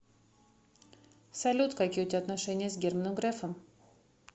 салют какие у тебя отношения с германом грефом